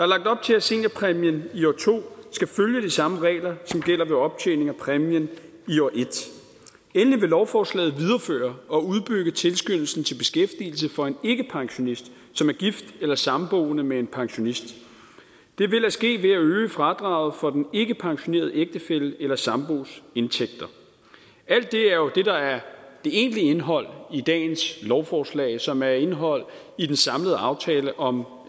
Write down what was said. lagt op til at seniorpræmien i år to skal følge de samme regler som gælder ved optjening af præmien i år ét endelig vil lovforslaget videreføre og udbygge tilskyndelsen til beskæftigelse for en ikkepensionist som er gift eller samboende med en pensionist det vil ske ved at øge fradraget for den ikkepensionerede ægtefælle eller sambos indtægter alt det er jo det der er det egentlige indhold i dagens lovforslag som er indeholdt i den samlede aftale om